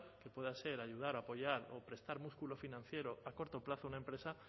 que pueda ser ayudar o apoyar o prestar músculo financiero a corto plazo a una empresa